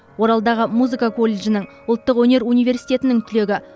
оралдағы музыка колледжінің ұлттық өнер университетінің түлегі